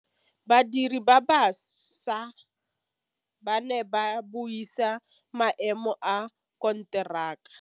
Badiri ba baša ba ne ba buisa maêmô a konteraka.